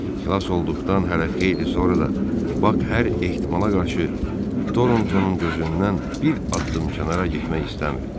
Xilas olduqdan hələ xeyli sonra da Bak hər ehtimala qarşı Torontonun gözündən bir addım kənara getmək istəmirdi.